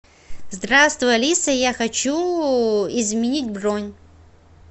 здравствуй алиса я хочу изменить бронь